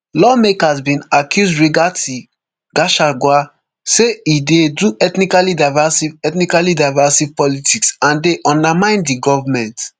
lawmakers bin accuse rigathi gachagua say e dey do ethnically divisive ethnically divisive politics and dey undermine di goment